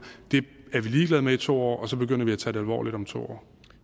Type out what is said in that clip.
er vi ligeglade med i to år og så begynder vi at tage det alvorligt om to